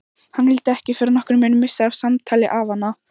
Hann vildi ekki fyrir nokkurn mun missa af samtali afanna.